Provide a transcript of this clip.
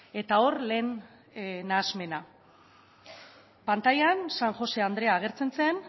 eta hor lehen nahasmena pantailan san josé andrea agertzen zen